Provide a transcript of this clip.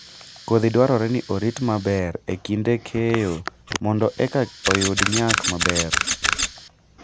Kodhi dwarore ni orit maber e kinde keyo mondo eka oyud nyak maber